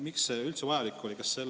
Miks see üldse vajalik oli?